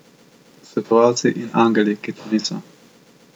Svetovalci in angeli, ki to niso.